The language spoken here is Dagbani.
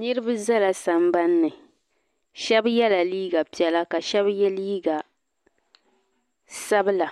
niriba zala sambani ni shɛba yela liiga piɛla ka shɛba ye liiga sabila